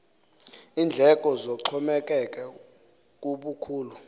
iindleko zixhomekeke kubukhulu